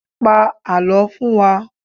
Pa àlọ́ fún wa!